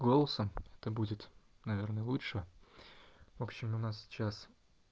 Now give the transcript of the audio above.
голосом это будет наверно лучше в общем у нас сейчас